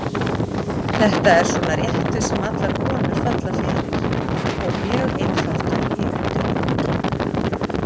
Þetta er svona réttur sem allar konur falla fyrir og mjög einfaldur í undirbúningi.